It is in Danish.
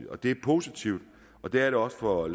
og det er positivt det er det også for